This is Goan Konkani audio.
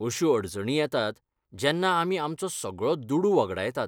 अश्यो अडचणी येतात जेन्ना आमी आमचो सगळो दुडू वगडायतात.